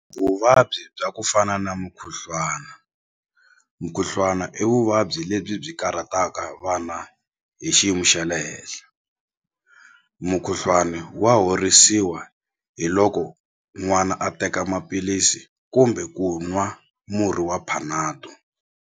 Vuvabyi bya ku fana na mukhuhlwana mukhuhlwana i vuvabyi lebyi byi karhataka vana hi xiyimo xa le henhla mukhuhlwani wa horisiwa hi loko n'wana a teka maphilisi kumbe ku nwa murhi wa Panado.